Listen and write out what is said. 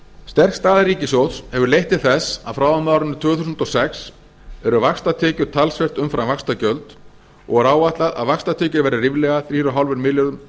sterk staða ríkissjóðs hefur leitt til þess að frá og með árinu tvö þúsund og sex eru vaxtatekjur talsvert umfram vaxtagjöld og er áætlað að vaxtatekjur verði ríflega þrjú komma fimm milljörðum